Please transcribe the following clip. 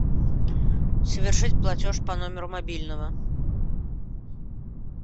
совершить платеж по номеру мобильного